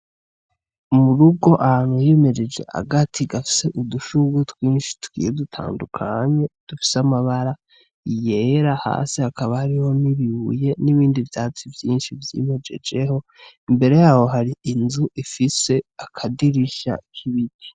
Mu rugo ahantu himejeje agati gafise udushugwe tugiye dutandukanye, dufise amabara yera, hasi hakaba hariho n'ibibuye n'ibindi vyatsi vyinshi vyimejejeho. Imbere yaho hari inzu ifise akadirisha k'ibiti.